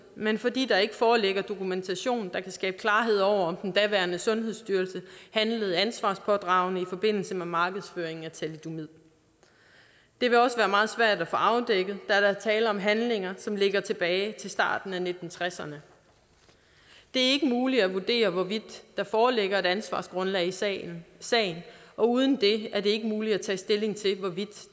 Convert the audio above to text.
men fordi der ikke foreligger dokumentation der kan skabe klarhed over om den daværende sundhedsstyrelse handlede ansvarspådragende i forbindelse med markedsføringen af thalidomid det vil også være meget svært at få afdækket der er tale om handlinger som ligger tilbage i starten af nitten tresserne det er ikke muligt at vurdere hvorvidt der foreligger et ansvargrundlag i sagen sagen og uden det er det ikke muligt at tage stilling til hvorvidt